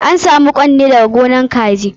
An sam ƙwan ne daga gonan kaji.